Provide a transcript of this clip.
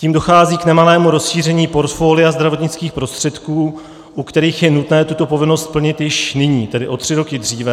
Tím dochází k nemalému rozšíření porfolia zdravotnických prostředků, u kterých je nutné tuto povinnost splnit již nyní, tedy o tři roky dříve.